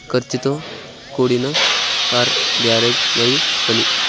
ఖర్చుతో కూడిన car garage మరియు పని.